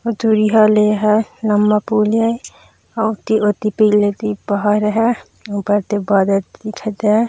अऊ दूरिहा ले एहा लम्बा पुल हे अऊ ओती ओती पी लेती पहाड़ हैं ओ कोति बादल दिखत हैं।